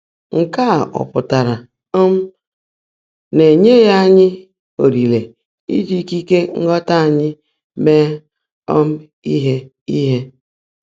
Nkè á ọ́ pụ́tárá um ná é nyèèghị́ ányị́ ólèèré íjí íkíkè nghọ́tá ányị́ meè um íhe? íhe?